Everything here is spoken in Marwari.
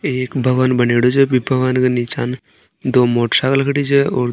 एक भवन बनेडो छे बि भवन के नीच न दो मोटरसाइकिल खड़ी छे और --